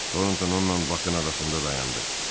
Torontoun Hel ilə Bakı arasında dayandı.